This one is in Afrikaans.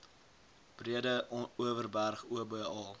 breede overberg oba